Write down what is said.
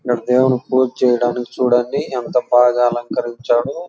ఇది దేవుని పూజ చేయడానికి చూడండి ఎంత బాగా అలంకరించారో.